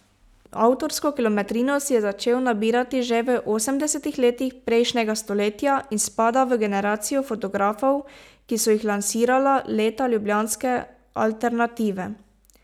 Avtorsko kilometrino si je začel nabirati že v osemdesetih letih prejšnjega stoletja in spada v generacijo fotografov, ki so jih lansirala leta ljubljanske alternative.